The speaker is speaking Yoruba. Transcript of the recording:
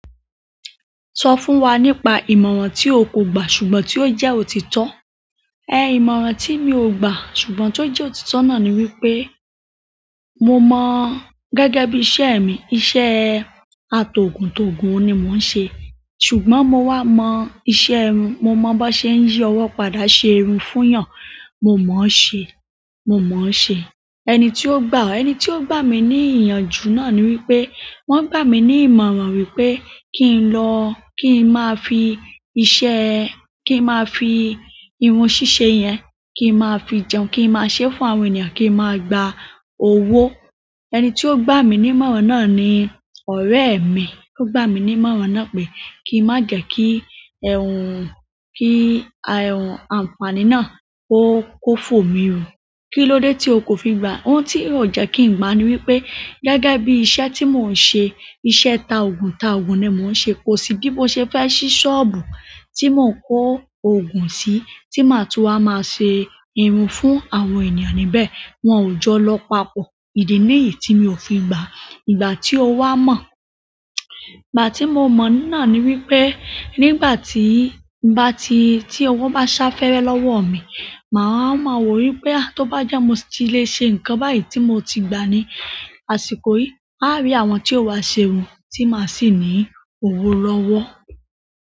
So fún wa nípa ìmọ̀ràn ti o ko gba ṣùgbọ́n ti o jẹ òtítọ́? Ẹ ìmọ̀ràn tí mi ò gbà ṣùgbọ́n tí ó jẹ́ òtítọ́ náà ni wípé mo mọ̀ gẹ́gẹ́ bí iṣẹ́ mi, iṣẹ́ atogun togun ni mo n se. Ṣùgbọ́n mo wá mọ̀ iṣẹ́ irun, mo mọ̀ bó ṣe ń yí ọwọ́ padà ṣe irun fún èèyàn, mo mọ̀ ṣé, mo mọ̀ ṣé. Ẹni ti o gba o ẹni ti o gba mi ni iyanju náà ni wípé wọn gbami ni ìmọ̀ràn wípé ki n lo ki n maa fi iṣẹ́ ki n maa fi irun sise yen kin ma fi jẹun ki n ma se fún àwọn ènìyàn ki n ma gba owo. Ẹni tí ó gbà mí ní ìmọ̀ràn náà ni ọ̀rẹ́ mi tí ó gbà mí ní ìmọ̀ràn náà pé kí n má jẹ kí ẹ́hún, kí ẹ́hún àǹfàní náà ó kófòmi rún. Kí ló dé tí o kò fi gbà? Ohun tí ó jẹ́ kí n gbà ni wípé gẹ́gẹ́ bí iṣẹ́ tí mò ń ṣe, iṣẹ́ ta ògùn ta ògùn ni mò ń ṣe. Kosi bi mose fe si soobu ti mo n ko ogun si ti maa tun wa ma se irun fún àwọn ènìyàn níbẹ̀. Wọn ò jọ lọ papọ̀. Ìdí níyì tí mi ò fi gbà. Ìgbà tí o wá mọ̀? Ìgbà tí mo mọ̀ náà ni wípé nígbà tí, bá ti, tí ọwọ́ bá sá fẹ́rẹ́ lọ́wọ́ mi, màá ma mọ wípé tó bá jẹ́ mo ti lè ṣe ǹkan báyìí tí mo ti gba ni àsìkò yìí, màá rí àwọn tí ó wá ṣe irun tí màá sì ní òwò lọ́wọ́.